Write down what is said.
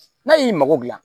N'a y'i mago dilan